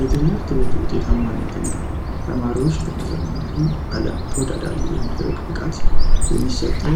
የትምህርት ቤቱ ውጤታ ማነት ና ተማሪዎች ለመዘመናዊ ዓለም ቶዳዳሪ የማድረግ ብቃት የሚሰጠው